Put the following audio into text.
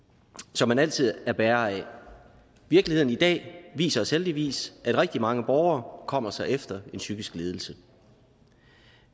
som man altid er bærer af virkeligheden i dag viser os heldigvis at rigtig mange borgere kommer sig efter en psykisk lidelse